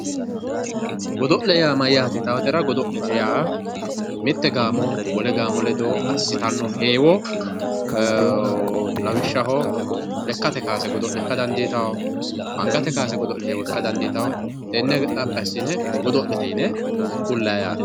Godole yaa mayate yittatera godo'le yaa mite gaamo wole gaamo ledo assittano heewo lawishshaho lekkate kowaase godo'le ikka dandiittano, angate kowaase godo'le ikka dandiittano tene xaphi assine godo'lete yinne ku'lanni yaate.